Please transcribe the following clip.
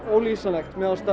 ólýsanlegt mér fannst